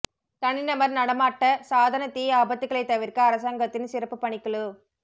தனிநபர் நடமாட்ட சாதன தீ ஆபத்துகளைத் தவிர்க்க அரசாங்கத்தின் சிறப்புப் பணிக்குழு